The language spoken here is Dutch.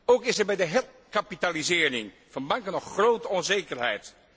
Ook is er bij de herkapitalisering van banken nog grote onzekerheid.